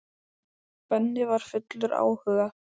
Benni og var fullur áhuga.